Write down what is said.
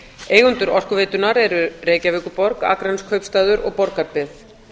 eigendur orkuveitunnar eru reykjavíkurborg akraneskaupstaður og borgarbyggð